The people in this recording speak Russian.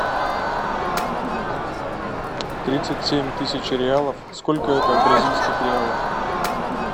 тридцать семь тысяч реалов сколько это в бразильских реалах